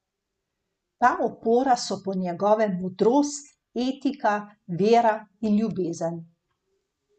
Ta opora so po njegovem modrost, etika, vera in ljubezen.